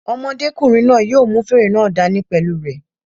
Ọmọdékùnrin náà yóò mú fèrè náà dá ní pẹ̀lú u rẹ̀